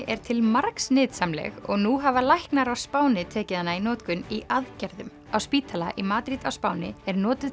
er til margs nytsamleg og nú hafa læknar á Spáni tekið hana í notkun í aðgerðum spítali í Madrid á Spáni notast